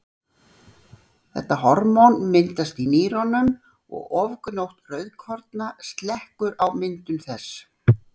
þetta hormón myndast í nýrunum og ofgnótt rauðkorna slekkur á myndun þess